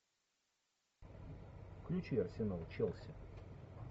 включи арсенал челси